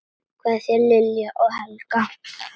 Kveðja, Lilja og Helga.